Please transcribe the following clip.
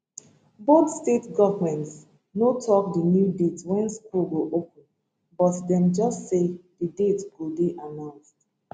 both state goments no tok di new date wen school go open but dem just say di date go dey announced